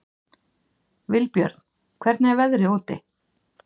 Vilbjörn, hvernig er veðrið úti?